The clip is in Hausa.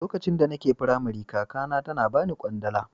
Lokacin da nake makarantar Firamare kakata tana bani kwandala.